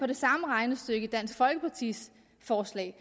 det samme regnestykke i dansk folkepartis forslag